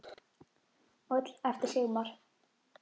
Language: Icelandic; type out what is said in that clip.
Og öll eftir Sigmar.